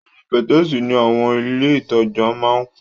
Awọn pẹtẹẹsì ni awọn ile itaja maa n kun